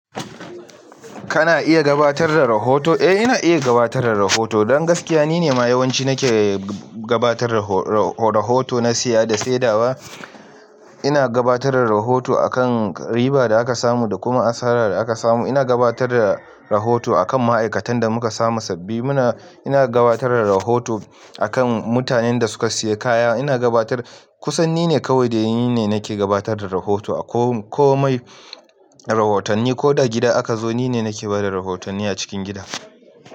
Kana iya gabatar da rahoto? Eh ina iya gabatar da rahoto. Don gaskiya nine ma yawanci nake gabatar da raho-raho-rahoto na siya da saidawa. Ina gabatar da rahoto akan riba da aka samu da kuma asara da aka samu. Ina gabatar da rahoto akan ma'aikatan da muka samu sabbi. Muna, ina gabatar da rahoto akan mutanen da suka siya kaya. Ina gabatar, kusan nine kawai dai nine nake gabatar da rahoto. A ko-komai rahotanni ko da gida aka zo nine nake bada rahotanni a cikin gida.